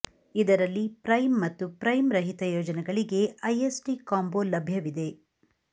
ಇದರಲ್ಲಿ ಪ್ರೈಮ್ ಮತ್ತು ಪ್ರೈಮ್ ರಹಿತ ಯೋಜನೆಗಳಿಗೆ ಐಎಸ್ಡಿ ಕಾಂಬೊ ಲಭ್ಯವಿದೆ